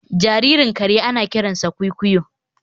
Jaririn kare ana kiransa kwikwiyo